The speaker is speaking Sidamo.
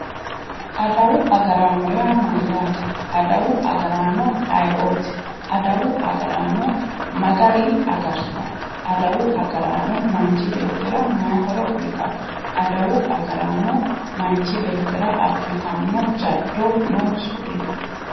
adawu agaraano yaa mayyate? adawu agaraano ayeooti ? adawu agaraano ma gari agaritanno ? adawu agaraanno machi beetira maayi horo uuyitanno ?adawu agaraano manchi beetira abbitanno jaddo noonso dino?